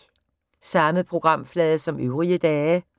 Samme programflade som øvrige dage